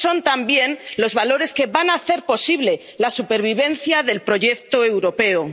esos son también los valores que van a hacer posible la supervivencia del proyecto europeo.